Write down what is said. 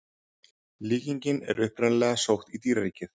Líkingin er upprunalega sótt í dýraríkið.